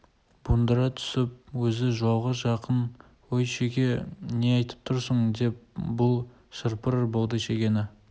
буыңдыра түсіп өзі жылауға жақын өй шеге не айтып тұрсың деп бұл шыр-пыр болды шегені